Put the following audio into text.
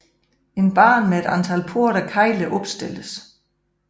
En bane med et antal porte af kegler opstilles